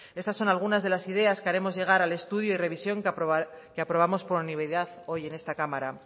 estas son algunas de las ideas que haremos llegar al estudio y revisión que aprobamos por unanimidad hoy en esta cámara